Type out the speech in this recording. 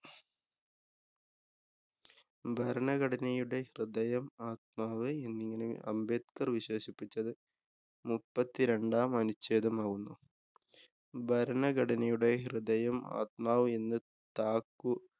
ഭരണഘടനയുടെ ഹൃദയം, ആത്മാവ് എന്നിങ്ങനെ അംബേദ്ക്കര്‍ വിശേഷിപ്പിച്ചത് മുപ്പത്തിരണ്ടാം അനുച്ഛേദമാവുന്നു. ഭരണഘടനയുടെ ഹൃദയം, ആത്മാവ് എന്ന് താക്കൂ